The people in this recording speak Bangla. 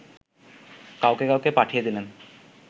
কাউকে কাউকে পাঠিয়ে দিলেন